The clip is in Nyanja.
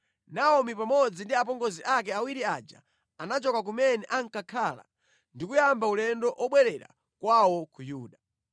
Naomi pamodzi ndi apongozi ake awiri aja anachoka kumene ankakhala ndi kuyamba ulendo obwerera kwawo ku Yuda.